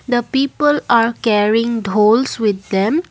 the people are caring dhols with them.